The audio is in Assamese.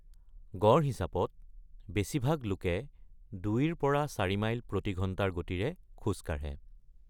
গড় হিচাপত, বেছিভাগ লোকে ২ৰ পৰা ৪ মাইল প্ৰতি ঘণ্টাৰ গতিৰে খোজ কাঢ়ে।